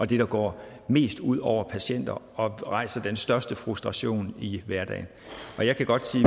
det der går mest ud over patienter og rejser den største frustration i hverdagen jeg kan godt sige